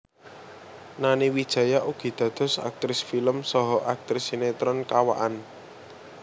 Nani Wijaya ugi dados aktris film saha aktris sinetron kawakan